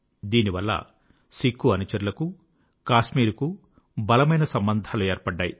దీనివల్ల సిక్ఖు అనుచరులకు కాశ్మీర్ కు బలమైన సంబంధాలు ఏర్పడ్డాయి